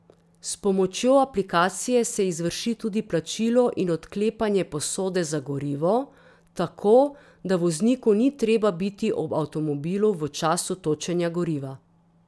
S pomočjo aplikacije se izvrši tudi plačilo in odklepanje posode za gorivo, tako, da vozniku ni treba biti ob avtomobilu v času točenja goriva.